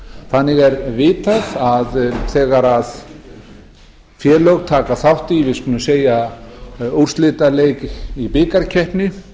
þannig er vitað að þegar félög taka þátt í til dæmis úrslitaleik í bikarkeppni